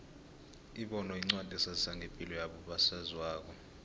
ibono yincwadi esazisa ngepilo yabo saziwayo